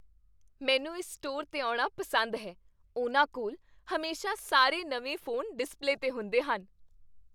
ਮੈਨੂੰ ਇਸ ਸਟੋਰ 'ਤੇ ਆਉਣਾ ਪਸੰਦ ਹੈ। ਉਹਨਾਂ ਕੋਲ ਹਮੇਸ਼ਾ ਸਾਰੇ ਨਵੇਂ ਫ਼ੋਨ ਡਿਸਪਲੇ 'ਤੇ ਹੁੰਦੇ ਹਨ।